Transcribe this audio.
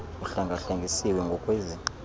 uhlenga hlengisiwe ngkwezi